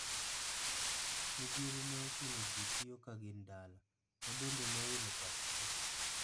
Midhiero ne ochuno jii tio ka gin dala, mabende nowilo pach jii.